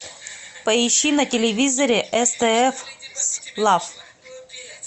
поищи на телевизоре стс лав